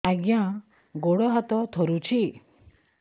ଆଜ୍ଞା ଗୋଡ଼ ହାତ ଥରୁଛି